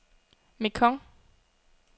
Mekong